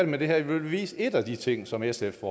med det her vil vi vise en af de ting som sf